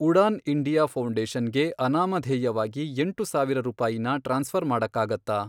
Udan India ಫೌ಼ಂಡೇಷನ್ಗೆ ಅನಾಮಧೇಯವಾಗಿ ಎಂಟು ಸಾವಿರ ರೂಪಾಯಿನ ಟ್ರಾನ್ಸ್ಫ಼ರ್ ಮಾಡಕ್ಕಾಗತ್ತಾ?